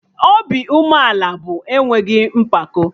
Obi umeala bụ enweghị mpako